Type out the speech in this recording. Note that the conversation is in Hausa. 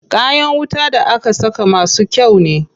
Kayan wuta da aka saka masu kyau ne.